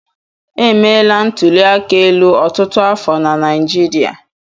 Emeela ntụli aka elu ọtụtụ afọ na Naịjirịa.